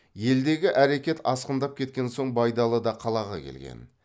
елдегі әрекет асқындап кеткен соң байдалы да қалаға келген